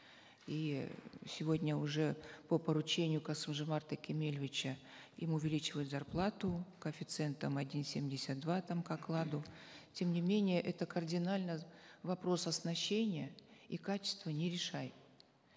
и сегодня уже по поручению касым жомарта кемелевича им увеличивают зар плату коэффициентом один семьдесят два там к окладу тем не менее это кардинально вопрос оснащения и качества не решает